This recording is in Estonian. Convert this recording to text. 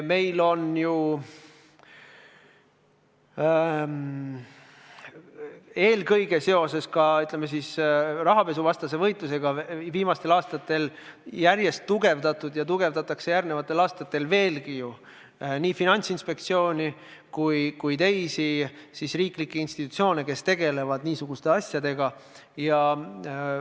Meil on ju viimastel aastatel eelkõige seoses rahapesuvastase võitlusega järjest tugevdatud – ja tugevdatakse järgmistel aastatel veelgi – nii Finantsinspektsiooni kui ka teisi riiklikke institutsioone, kes niisuguste asjadega tegelevad.